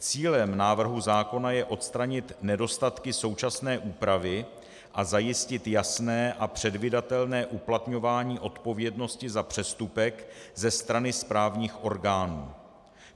Cílem návrhu zákona je odstranit nedostatky současné úpravy a zajistit jasné a předvídatelné uplatňování odpovědnosti za přestupek ze strany správních orgánů.